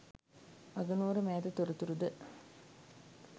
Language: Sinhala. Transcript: අගනුවර මෑත තොරතුරු ද